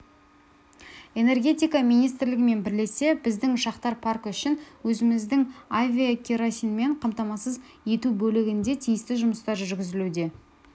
энергетика министрлігімен бірлесе біздің ұшақтар паркі үшін өзіміздің авиакеросинмен қамтамасыз ету бөлігінде тиісті жұмыстар жүргізілуде